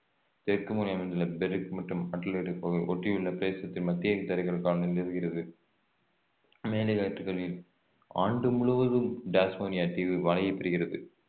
தெற்கு முனையில் அமைந்துள்ள பெர்த் மற்றும் ஒட்டியுள்ள பிரதேசத்தின் மத்தியில் இருக்கிறது மேலை காற்றுகளில் ஆண்டு முழுவதும் டாஸ்மேனிய தீவு மழையை பெறுகிறது வழங்கப்படுகிறது